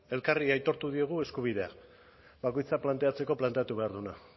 elkarri aitortu diogu eskubidea bakoitzak planteatzeko planteatu behar duena